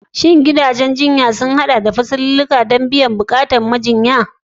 Shin gidajen jinya yawanci sun haɗa da fasalulluka na musamman don biyan buƙatun musamman na mazauna?